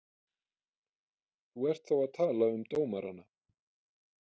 Þú ert þá að tala um dómarana?